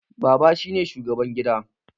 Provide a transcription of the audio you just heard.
Baba shine shugaban gida